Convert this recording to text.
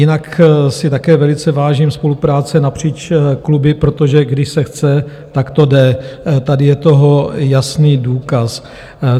Jinak si také velice vážím spolupráce napříč kluby, protože když se chce, tak to jde, tady je toho jasný důkaz.